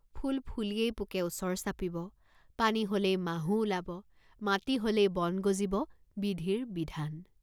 ফুল ফুলিলেই পোকে ওচৰ চাপিব, পানী হলেই মাহু ওলাব, মাটি হলেই বন গজিব, বিধিৰ বিধান।